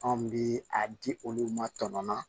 Anw bi a di olu ma tɔn na